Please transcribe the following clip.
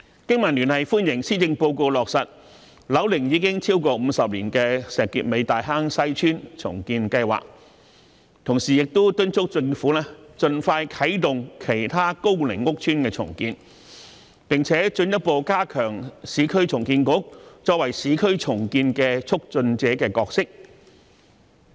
經民聯歡迎施政報告落實樓齡已超過50年的石硤尾大坑西邨重建計劃，同時敦促政府盡快啟動其他高齡屋邨的重建工程，並進一步加強市區重建局作為市區重建促進者的角色。